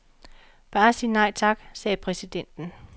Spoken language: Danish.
Bare sig nej tak, sagde præsidenten.